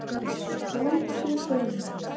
Skútuhrauni